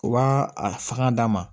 U b'a a fanga d'a ma